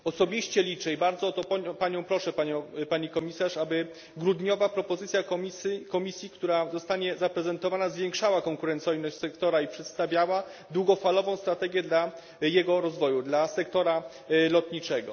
Osobiście liczę i bardzo o to Panią proszę, Pani Komisarz aby grudniowa propozycja Komisji, która zostanie zaprezentowana, zwiększała konkurencyjność sektora i przedstawiała długofalową strategię dla jego rozwoju dla sektora lotniczego.